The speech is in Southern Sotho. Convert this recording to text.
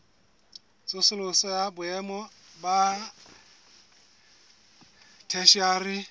tsosoloso ya boemo ba theshiari